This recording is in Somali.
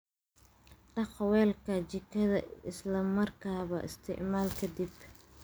Dhaq weelka jikada isla markaaba isticmaal ka dib.